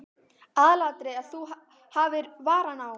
Aðalatriðið er að þú hafir varann á.